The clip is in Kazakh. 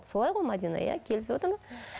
солай ғой мәдина иә келісіватыр ма